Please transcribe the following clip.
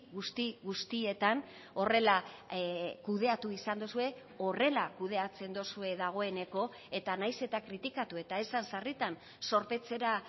guzti guztietan horrela kudeatu izan duzue horrela kudeatzen duzue dagoeneko eta nahiz eta kritikatu eta esan sarritan zorpetzera